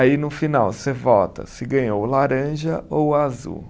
Aí no final você vota se ganhou o laranja ou o azul.